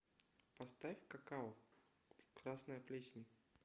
поставь какао красная плесень